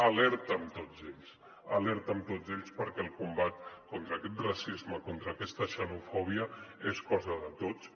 alerta amb tots ells alerta amb tots ells perquè el combat contra aquest racisme contra aquesta xenofòbia és cosa de tots